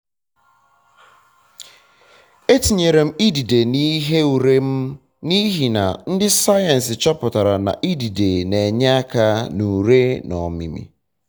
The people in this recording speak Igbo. etinyere m idide n'ihe ure m n'ihi na ndị sayensị chọpụtara na idide um na enye aka na ure na ọmịmị